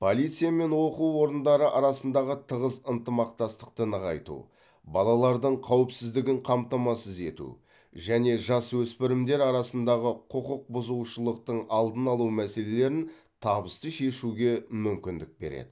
полиция мен оқу орындары арасындағы тығыз ынтымақтастықты нығайту балалардың қауіпсіздігін қамтамасыз ету және жасөспірімдер арасындағы құқық бұзушылықтың алдын алу мәселелерін табысты шешуге мүмкіндік береді